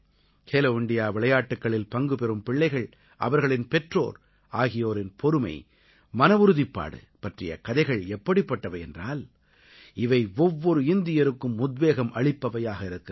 Khelo India விளையாட்டுக்களில் பங்குபெறும் பிள்ளைகள் அவர்களின் பெற்றோர் ஆகியோரின் பொறுமை மனவுறுதிப்பாடு பற்றிய கதைகள் எப்படிப்பட்டவை என்றால் இவை ஒவ்வொரு இந்தியருக்கும் உத்வேகம் அளிப்பவையாக இருக்கின்றன